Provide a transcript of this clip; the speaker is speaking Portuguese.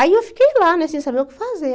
Aí eu fiquei lá, né sem saber o que fazer.